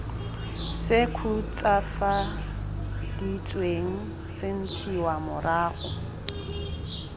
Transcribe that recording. se khutswafaditsweng se ntshiwa morago